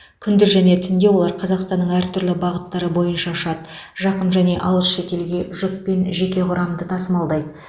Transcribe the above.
күндіз және түнде олар қазақстанның әр түрлі бағыттары бойынша ұшады жақын және алыс шетелге жүк пен жеке құрамды тасымалдайды